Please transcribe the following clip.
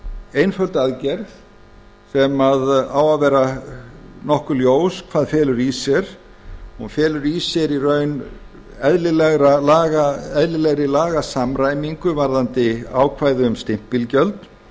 einföld aðgerð sem á að vera nokkuð ljós hvað felur í sér hún felur í sér í raun eðlilegri lagasamræmingu varðandi ákvæði um stimpilgjöld